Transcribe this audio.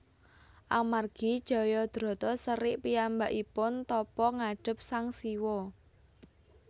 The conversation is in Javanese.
Amargi Jayadrata serik piyambakipun tapa ngadhep Sang Siwa